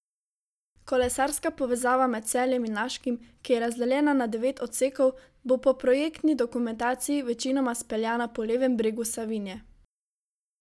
Kolesarska povezava med Celjem in Laškim, ki je razdeljena na devet odsekov, bo po projektni dokumentaciji večinoma speljana po levem bregu Savinje.